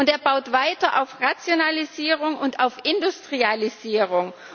Er baut weiter auf Rationalisierung und auf Industrialisierung.